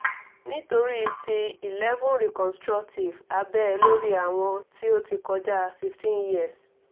nitori ti cs] eleven reconstructive abẹ lori awọn ti o ti kọja fifteen years